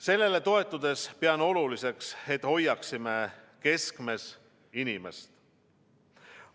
Sellele toetudes pean oluliseks, et hoiaksime keskmes inimest.